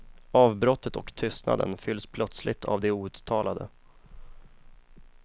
Avbrottet och tystnaden fylls plötsligt av det outtalade.